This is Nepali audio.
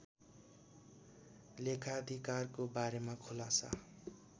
लेखाधिकारको बारेमा खुलासा